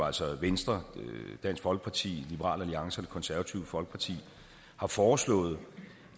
altså venstre dansk folkeparti liberal alliance og det konservative folkeparti har foreslået